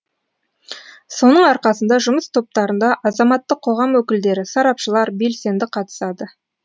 соның арқасында жұмыс топтарында азаматтық қоғам өкілдері сарапшылар белсенді қатысады